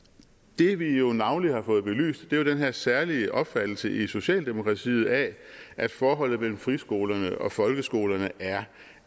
det vi jo navnlig har fået belyst er jo den her særlige opfattelse i socialdemokratiet af at forholdet mellem friskolerne og folkeskolerne er